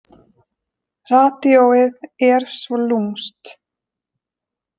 Radíóið er svo lúmskt.